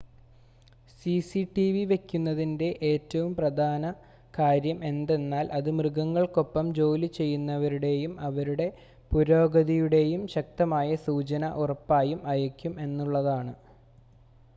CCTV വെക്കുന്നതിൻ്റെ ഏറ്റവും പ്രധാന കാര്യം എന്തെന്നാൽ അത് മൃഗങ്ങൾക്കൊപ്പം ജോലിചെയ്യുന്നവരുടേയും അവരുടെ പുരോഗതിയുടേയും ശക്തമായ സൂചന ഉറപ്പായും അയയ്ക്കും എന്നുള്ളതാണ്